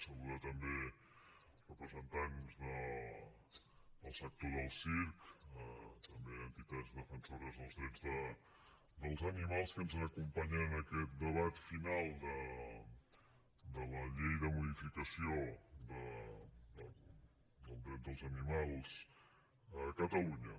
saludar també els representants del sector del circ també entitats defensores dels drets dels animals que ens acompanyen en aquest debat final de la llei de modificació dels drets dels animals a catalunya